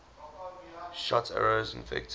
shot arrows infected